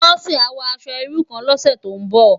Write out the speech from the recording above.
Bose á wò aṣò irú kán lòsè tó n bò